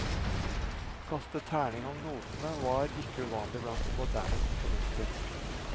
Å kaste terning om notene var ikke uvanlig blant de moderne komponister.